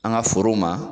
An ka forow ma